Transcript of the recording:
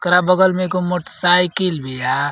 करा बगल में एगो मोट्साइकिल बिया।